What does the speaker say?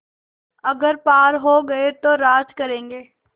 अगर पार हो गये तो राज करेंगे